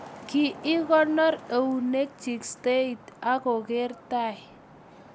ki ikonor eunekchich stering'it ak kogeer tai